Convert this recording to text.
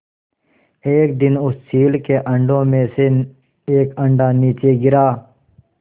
एक दिन उस चील के अंडों में से एक अंडा नीचे गिरा